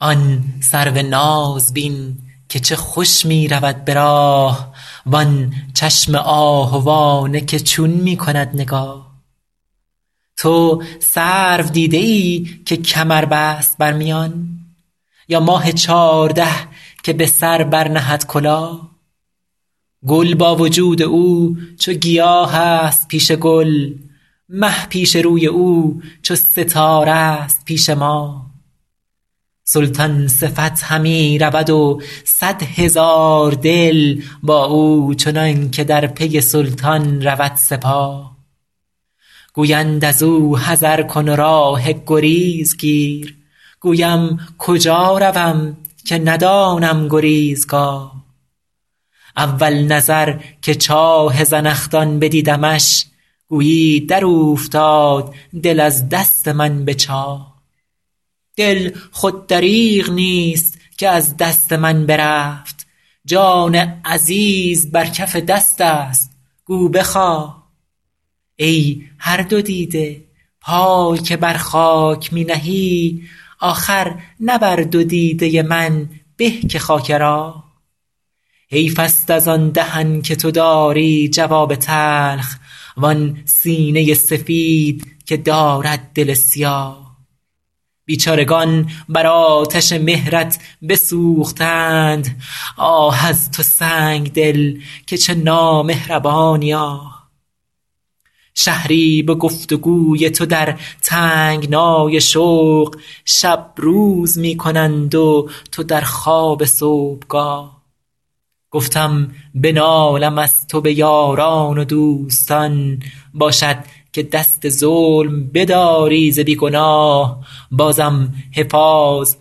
آن سرو ناز بین که چه خوش می رود به راه وآن چشم آهوانه که چون می کند نگاه تو سرو دیده ای که کمر بست بر میان یا ماه چارده که به سر برنهد کلاه گل با وجود او چو گیاه است پیش گل مه پیش روی او چو ستاره ست پیش ماه سلطان صفت همی رود و صد هزار دل با او چنان که در پی سلطان رود سپاه گویند از او حذر کن و راه گریز گیر گویم کجا روم که ندانم گریزگاه اول نظر که چاه زنخدان بدیدمش گویی در اوفتاد دل از دست من به چاه دل خود دریغ نیست که از دست من برفت جان عزیز بر کف دست است گو بخواه ای هر دو دیده پای که بر خاک می نهی آخر نه بر دو دیده من به که خاک راه حیف است از آن دهن که تو داری جواب تلخ وآن سینه سفید که دارد دل سیاه بیچارگان بر آتش مهرت بسوختند آه از تو سنگدل که چه نامهربانی آه شهری به گفت و گوی تو در تنگنای شوق شب روز می کنند و تو در خواب صبحگاه گفتم بنالم از تو به یاران و دوستان باشد که دست ظلم بداری ز بی گناه بازم حفاظ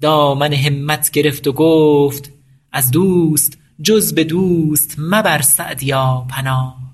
دامن همت گرفت و گفت از دوست جز به دوست مبر سعدیا پناه